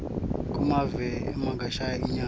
kumave angesheya inyama